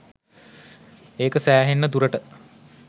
ඒක සැහෙන්න දුරට